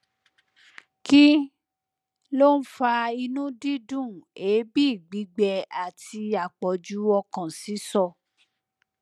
kí ló ń fa inú dídùn èébì gbigbẹ àti àpọjù ọkàn sísọ